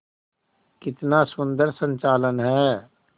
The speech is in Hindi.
कितना सुंदर संचालन है